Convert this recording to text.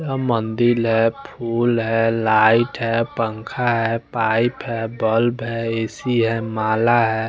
यहां मंदिर है फूल है लाइट है पंखा है पाइप है बल्ब है ऐ_सी है माला है।